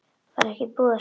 Var ekki búið að slátra?